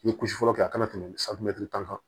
N ye kusi fɔlɔ kɛ a kana tɛmɛ tan kan